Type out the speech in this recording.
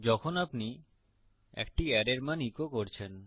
যখন আপনি একটি অ্যারের মান ইকো করছেন